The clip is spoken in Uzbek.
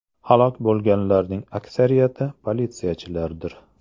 Halok bo‘lganlarning aksariyati politsiyachilardir.